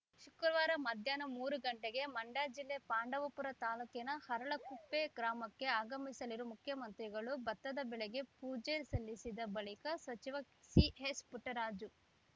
ಶುಕ್ರವಾರ ಮಧ್ಯಾಹ್ನ ಮೂರು ಗಂಟೆಗೆ ಮಂಡ್ಯ ಜಿಲ್ಲೆ ಪಾಂಡವಪುರ ತಾಲೂಕಿನ ಅರಳಕುಪ್ಪೆ ಗ್ರಾಮಕ್ಕೆ ಆಗಮಿಸಲಿರುವ ಮುಖ್ಯಮಂತ್ರಿಗಳು ಭತ್ತದ ಬೆಳೆಗೆ ಪೂಜೆ ಸಲ್ಲಿಸಿದ ಬಳಿಕ ಸಚಿವ ಸಿಎಸ್‌ಪುಟ್ಟರಾಜು